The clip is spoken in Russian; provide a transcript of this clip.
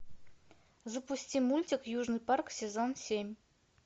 запусти мультик южный парк сезон семь